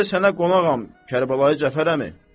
Bu gecə sənə qonağam Kərbəlayi Cəfərəmi?